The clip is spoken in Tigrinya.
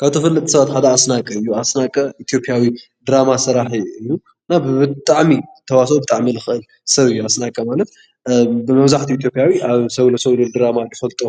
ካብ ተፈለጥቲ ሰባት ሓደ ኣስናቀ እዩ:: ኣስናቀ ኢትዮጵያዊ ድራማ ሰራሒ እዩ:: እና ብጣዕሚ ተዋስኦ ብጣዕሚ እዩ ዝኽእል ሰብ እዩ:: ኣስናቀ ማለትብመብዛሕትኡ ኢትዮጵያዊ ኣብ ሰብ ንሰብ ዝብል ድራማ ንፍልጦ